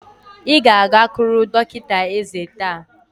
Ị ga-agakwuru dọkịta ézé taa!